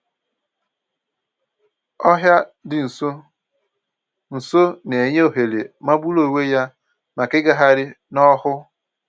Ọhịa dị nso nso na-enye ohere magburu onwe ya maka ịgagharị n'ọhụụ